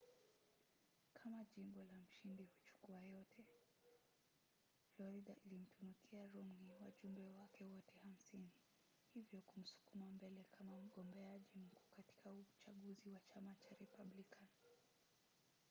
kama jimbo la mshindi-huchukua-yote. florida ilimtunukia romney wajumbe wake wote hamsini hivyo kumsukuma mbele kama mgombeaji mkuu katika uchaguzi wa chama cha republican